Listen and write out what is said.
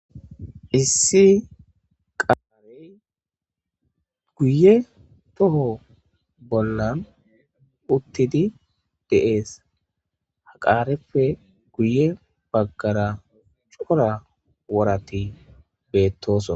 Issi qaarey guye toho bollan uttidi deees haqarefe guye baggara cora woratti beettoso